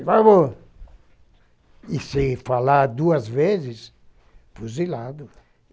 por favor. E se falar duas vezes, fuzilado.